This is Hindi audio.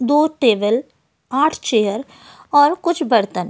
दो टेबल आठ चेयर और कुछ बर्तन --